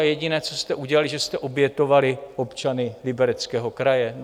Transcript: A jediné, co jste udělali, že jste obětovali občany Libereckého kraje.